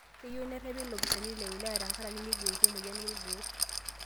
Keyieu nerrepi lopisaani le wilaya tenkaraki neiboitie emoyian olgoo